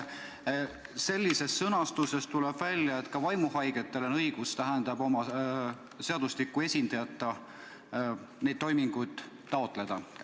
Sellest sõnastusest tuleb välja, et ka vaimuhaigetel on õigus ilma seadusliku esindajata neid toiminguid taotleda.